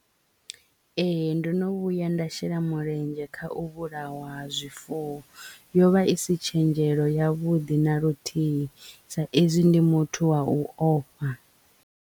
Ee ndo no vhuya nda shela mulenzhe kha u vhulawa ha zwifuwo yovha isi tshenzhelo ya vhuḓi na luthihi sa izwi ndi muthu wa u ofha.